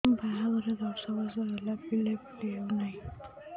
ବାହାଘର ଦଶ ବର୍ଷ ହେଲା ପିଲାପିଲି ହଉନାହି